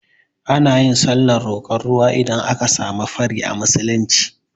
Anayin sallar roƙon ruwa idan aka samu fari a musulunci